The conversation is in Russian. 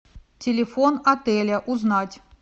телефон отеля узнать